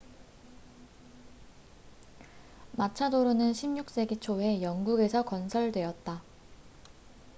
마차도로는 16세기 초에 영국에서 건설되었다